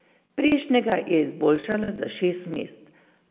Prejšnjega je izboljšala za šest mest.